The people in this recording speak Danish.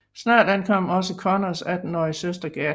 Snart ankom også Conners attenårige søster Gertie